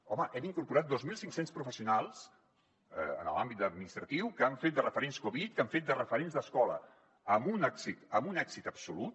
home hem incorporat dos mil cinc cents professionals en l’àmbit administratiu que han fet de referents covid que han fet de referents d’escola amb un èxit absolut